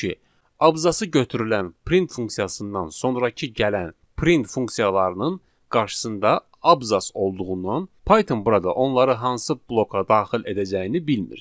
Çünki abzası götürülən print funksiyasından sonrakı gələn print funksiyalarının qarşısında abzas olduğundan Python burada onları hansı bloka daxil edəcəyini bilmir.